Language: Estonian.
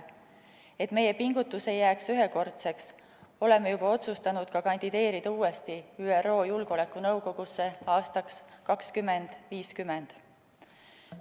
Et meie pingutus ei jääks ühekordseks, oleme juba otsustanud kandideerida uuesti ÜRO Julgeolekunõukogusse aastaks 2050.